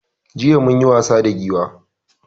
Jiya munyi wasa da Giwa